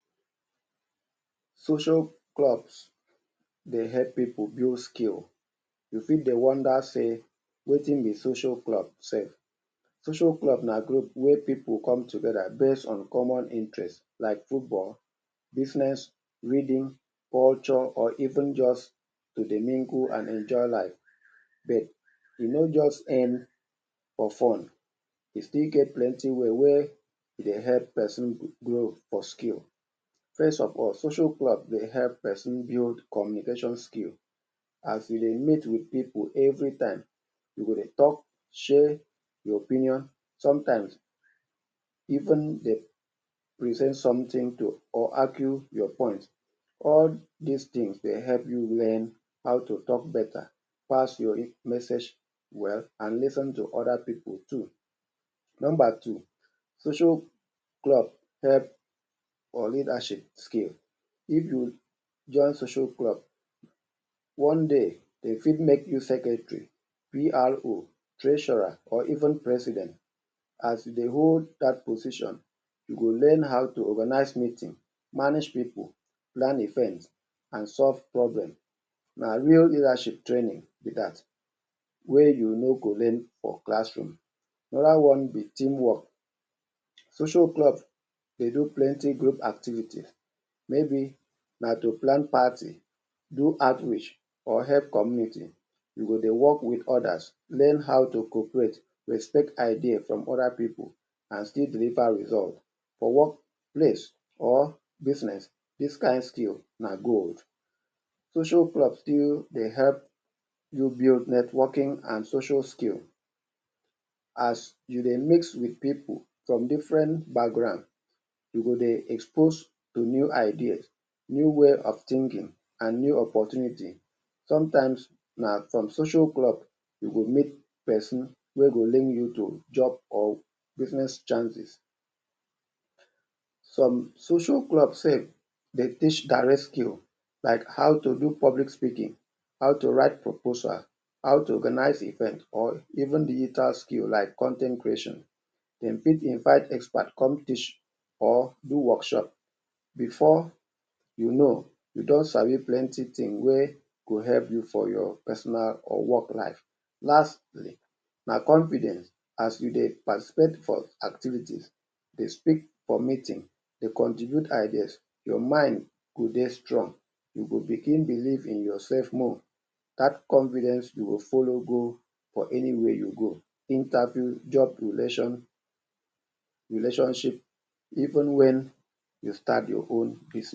Social clubs dey help pipu build skill. You fit de wonder say: ‘’Wetin be social club sef? Social club na group wey pipu come together based on common interests like football, business, reading, culture, or even just to dey mingle and enjoy life. But, e no just end for fun. E still get plenty way wey e dey help pesin grow for skill. First of all, social club dey help pesin build communication skill. As you dey meet with pipu every time, you go dey tok, share your opinion, sometimes even dey present something to or argue your point. All dis tin de help you learn how to tok beta, pass your message well and lis ten to other pipu too. Nomba two, social club help for leadership skill. If you join social club, one day de fit make you secretary, PRO, treasurer, or even President. As you dey hold dat position, you go learn how to organize meeting, manage pipu, plan event, and solve problem – na real leadership training be dat, wey you no go learn for classroom. Another one be teamwork: Social club dey do plenty group activity, maybe na to plan party, do outreach, or help communities, you go dey work with others, learn how to cooperate, respect idea from other pipu and still deliver result. For workplace or business, dis kind skill na gold. Social club still de help you build networking and social skills as you dey mix wit pipu from different background, you go de exposed to new ideas, new way of thinking and new opportunity. Sometimes, na from social club you go meet pesin wey go link you to job or business chances. Some social club sef dey teach direct skill like how to do public speaking, how to write proposal, how to organize event or even digital skill like con ten t creation, dem fit invite expert come teach or do workshop – before you know, you don sabi plenty tin wey go help you for your personal or work life. Lastly, na confidence: as you dey participate for activities, dey speak for meeting, dey contribute ideas, your mind go dey strong, you go begin believe in yourself more. That confidence go follow go for anywhere you go – interview, job relation, relationship, even wen you start your own bus-.